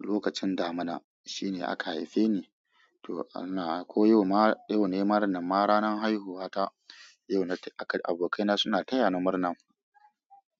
Lokacin damina shine aka haife ni. To ana, ko yau ma, yau na yi murnar, na ranar haihuwata. Yau na yi, abokaina suna taya ni murna.